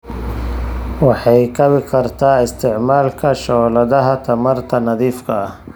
Waxay kabi kartaa isticmaalka shooladaha tamarta nadiifka ah.